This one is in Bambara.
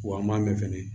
Wa an m'a mɛn fɛnɛ